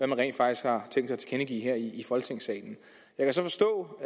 man rent faktisk har tænkt sig at tilkendegive her i folketingssalen jeg kan så forstå